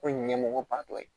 K'o ye ɲɛmɔgɔba dɔ ye